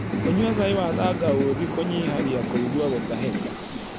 Kũnyua cai wa tangaũthĩ kũnyĩhagĩa kũĩgũa gũtahĩka